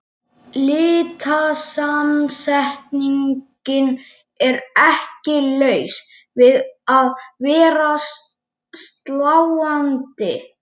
Litasamsetningin er ekki laus við að vera sláandi.